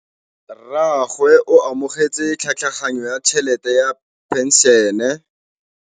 Rragwe o amogetse tlhatlhaganyô ya tšhelête ya phenšene.